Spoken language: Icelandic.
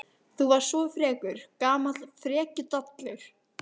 Þú varst svo frekur, gamall frekjudallur.